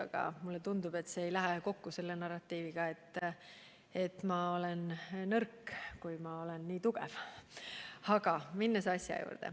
Aga mulle tundub, et see ei lähe kokku selle narratiiviga, et ma olen nõrk, kui ma olen nii tugev.